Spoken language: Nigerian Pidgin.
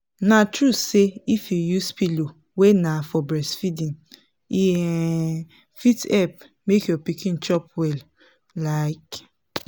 na true say if you use pillow wey na for breastfeeding e um fit help make your pikin chop well like